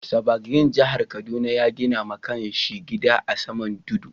Sa. Gbagyin jihar Kaduna ya gina ma kan shi gida a'saman tudun.